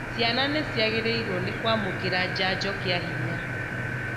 Ciana nĩciagĩrĩrw nĩ kwamũkĩra njanjo kĩa hinya